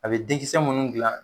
A be den kisɛ munnu dilan